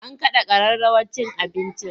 An kada kararrawar cin abincin?